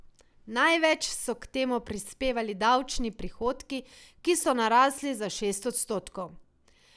Največ so k temu prispevali davčni prihodki, ki so narasli za šest odstotkov.